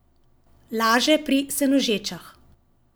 Laže pri Senožečah.